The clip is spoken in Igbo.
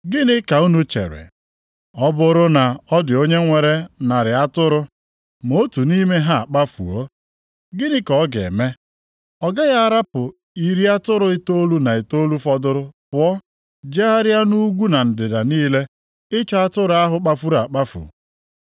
“Gịnị ka unu chere? Ọ bụrụ na ọ dị onye nwere narị atụrụ, ma otu nʼime ha akpafuo, gịnị ka ọ ga-eme? Ọ gaghị ahapụ iri atụrụ itoolu na itoolu fọdụrụ pụọ jegharịa nʼugwu na ndịda niile, ịchọ atụrụ ahụ kpafuru akpafu?